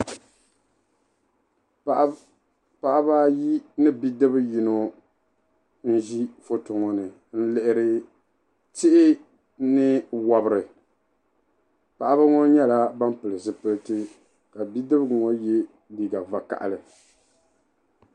Paɣaba ayi ni bi'dibi yino n-ʒi foto ŋɔ ni n-lihiri tihi ni wabiri paɣaba ŋɔ nyɛla ban pili zipiliti ka bi'dibiga ŋɔ ye liiga vakahili.